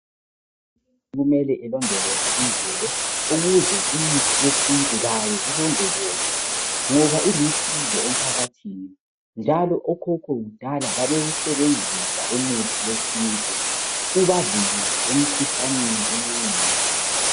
Kumele ilondoloze imvelo ukuze imithi yesintu layo ilondolozwe ngoba ilusizo emphakathini njalo okhokho kudala babewusebenzisa umuthi wesintu ubavikele emkhuhlaneni eminengi.